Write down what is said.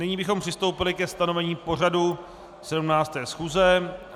Nyní bychom přistoupili ke stanovení pořadu 17. schůze.